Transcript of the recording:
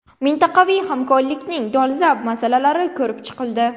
Mintaqaviy hamkorlikning dolzarb masalalari ko‘rib chiqildi.